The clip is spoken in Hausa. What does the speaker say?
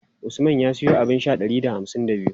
Usman ya siyo abun sha ɗari da hamsin da biyu.